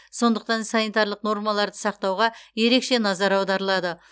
сондықтан санитарлық нормаларды сақтауға ерекше назар аударылады